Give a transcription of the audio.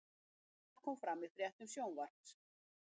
Þetta kom fram í fréttum Sjónvarps